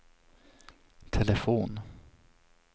telefon